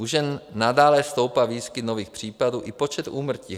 U žen nadále stoupá výskyt nových případů i počet úmrtí.